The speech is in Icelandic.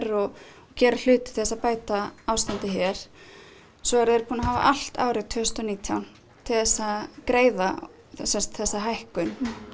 og gera hluti til þess að bæta ástandið hér svo eru þeir búnir að hafa allt árið tvö þúsund og nítján til þess að greiða þessa hækkun